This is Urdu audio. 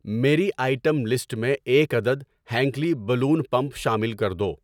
میری آئٹم لسٹ میں ایک عدد ہینکلی بلون پمپ شامل کر دو۔